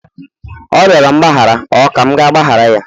ọ rịọrọ mgbaghara, ọ ka m ga-agbaghara ya?